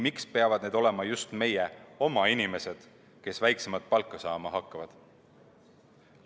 Miks peavad need olema just meie oma inimesed, kes väiksemat palka saama hakkavad?